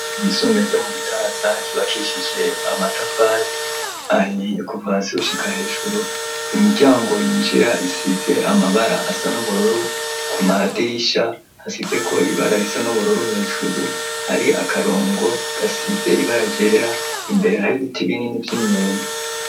Ishure ryisumbuye ryo mu Gitaza ryubakishije amatafari ahiye kuva hasi gushika hejuru imiryango yinjira isize amabara asa n'ubururu ku madirisha hasizeko ibara risa n'ubururu hejuru hari akarongo gasize ibara ryera imbere hari ibiti binini vy'imyembe.